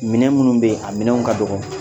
Minɛn minnu bɛ ye a minɛnw ka dɔgɔ